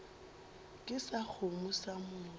ke sa kgomo sa motho